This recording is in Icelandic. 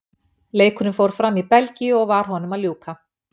Leikurinn fór fram í Belgíu og var honum að ljúka.